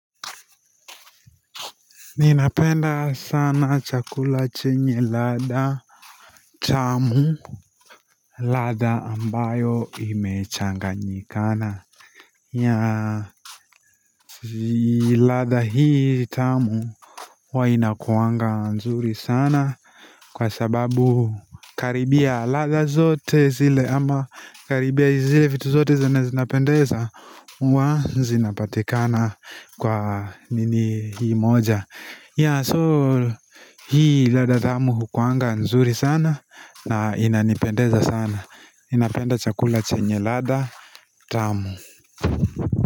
Ninapenda sana chakula chenye ladha tamu lada ambayo imechanganyi kana ladha hii tamu huwa inakuanga nzuri sana Kwa sababu karibia ladha zote zile ama karibia zile vitu zote zenye zinapendeza hua zinapatikana kwa nini hii moja ya so Hii ladha tamu hukuanga nzuri sana na inanipendeza sana ninapenda chakula chenye ladha tamu.